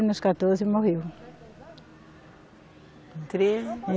Nos quatorze morreu.